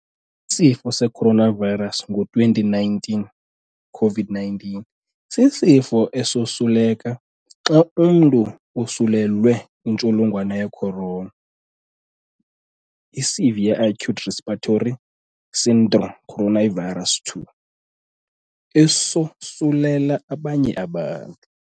Isifo seCoronavirus ngo-2019, COVID-19, sisifo esosuleka xa umntu osulelwe intsholongwane ye-Corona, Severe Acute Respiratory Syndrome Coronavirus 2, esosulela abanye abantu.